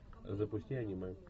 запусти аниме